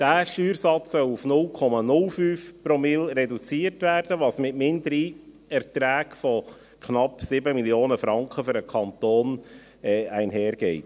Dieser Steuersatz soll auf 0,05 Promille reduziert werden, was mit Mindererträgen von knapp 7 Mio. Franken für den Kanton einhergeht.